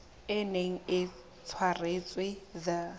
e neng e tshwaretswe the